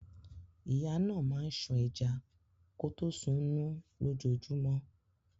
Ìyá náà máa ń ṣan ẹja kọtó sunún lójojúmọ́.